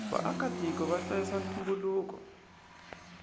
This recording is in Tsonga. vaaka tiko vahlayisa ntumbuluko